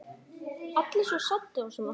Allir svo saddir og svona.